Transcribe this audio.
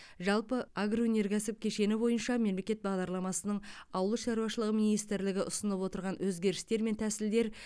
жалпы агроөнеркәсіп кешені бойынша мемлекет бағдарламасының ауыл шаруашылығы министрлігі ұсынып отырған өзгерістер мен тәсілдер